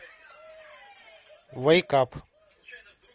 вейк ап